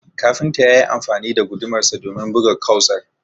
kafintan yayi amfani da gudumarsa domin buga kausar